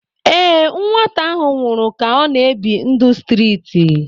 ee, nwata ahụ nwụrụ ka ọ na-ebi ndụ streeti